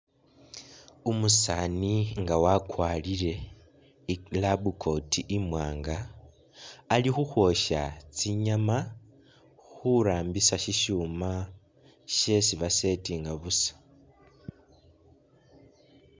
Umusaani nga wakwarile i'lab coat imwanga alikhukhwosha tsinyama khurambisa shishuma shesi ba'settinga busa